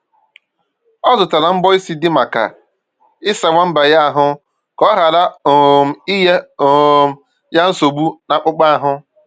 O zụtara mbọ isi dị maka ịsa nwamba ya ahụ ka ọ ghara um inye um ya nsogbu n'akpụkpọ ahụ